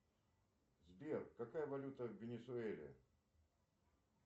сбер какая валюта в венесуэле